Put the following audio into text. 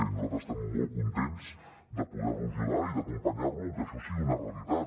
i nosaltres estem molt contents de poder lo ajudar i d’acompanyar lo perquè això sigui una realitat